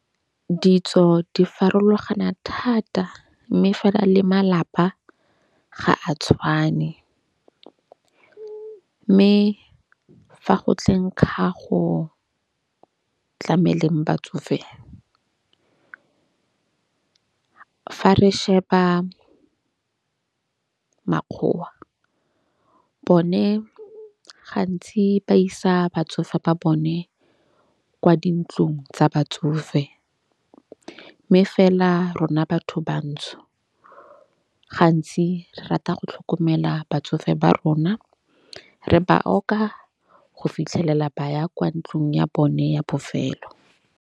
Ditso di farologana thata. Mme fa na le malapa ga a tshwane. Mme fa go tleng ga go tlameleng batsofe, fa re sheba makgowa bone gantsi ba isa batsofe ba bone kwa dintlong tsa batsofe. Mme fela rona batho bantsho gantsi re rata go tlhokomela batsofe ba rona. Re ba oka go fitlhelela ba ya kwa ntlung ya bone ya bofelo.